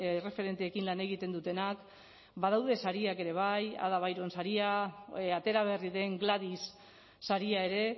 erreferenteekin lan egiten dutenak badaude sariak ere bai ada byron saria atera berri den gladys saria ere